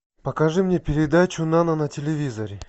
покажи мне передачу нано на телевизоре